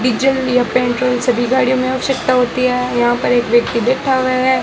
Diesel या petrol सभी गाड़ियों में आवश्यकता होती है यहां पर एक व्यक्ति बैठा हुआ है।